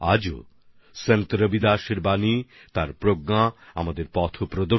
আজও সন্ত রবিদাসজির শব্দমালা জ্ঞান আমাদের পথ দেখায়